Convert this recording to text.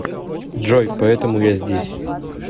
джой поэтому я здесь